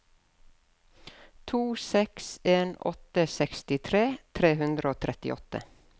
to seks en åtte sekstitre tre hundre og trettiåtte